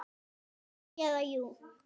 Nei. eða jú!